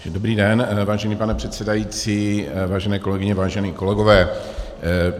Dobrý den, vážený pane předsedající, vážené kolegyně, vážení kolegové.